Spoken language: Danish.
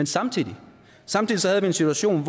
samtidig den situation